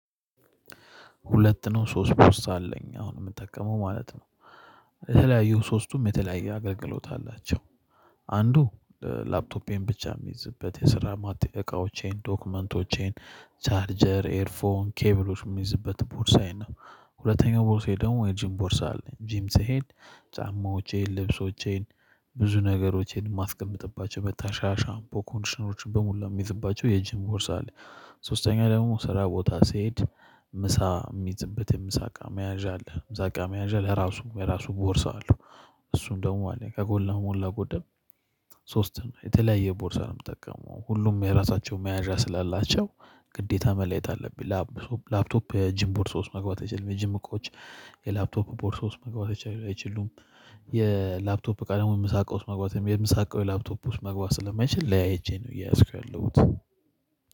ሁለት ነው ሶስት ፖስታ አለኝ። አሁን የምጠቀመው ማለት ነው የተለያዩ ሶስቱም የተለያየ አገልግሎት አላቸው። አንዱ ላፕቶፔን ብቻ የሚይዝበት፤ የስራ ዕቃዎቼን፤ ዶክመንቶቼን፤ ቻርጀር፤ ኤርፎን ኬብሎች የሚይዝበት ቦርሳዬ ነው። ሁለተኛው ቦርሳዬ ደግሞ የጂም ቦርሳ አለኝ ጂም ስሄድ ጫማዎቼን ልብሶቼን ብዙ ነገሮቼን የማስቀምጥባቸው መታሻ ሻምፖ ኮንዲሽነሮችን በሙሉ የሚይዝባቸው የጂም ቦርሳ አለ። ሶስተኛ ደግሞ ስራ ቦታ ስሄድ ምሳ የሚዝበት የምሳ አቃ መያዣ አለ። ምሳ አቃ መያዣ አለ ለራሱ የራሱ ቦርሳ አለው። እሱም ደግሞ አለኝ። ከሞላጎደል ሶስት ነው የተለያየ ቦርሳ ነው የምጠቀመው ሁሉም የራሳቸው መያዣ ስላላቸው ግዴታ መለየት አለብኝ። ላፕቶፕ የጂም ቦርሶ ውስጥ መግባት አይችልም የጂም እቃዎች የላፕቶፕ ቦርሶ ውስጥ መግባት አይችሉም። የላፕቶፕ ቃል ደግሞ ምሳቃ ውስጥ መግባት የምሳ ዕቃው ደግሞ የላፕቶፕ ውስጥ መግባት ስለማይችል ለያይቼ ነው እያዝኩ ያለሁት።